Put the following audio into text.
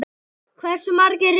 Hversu margir reykja?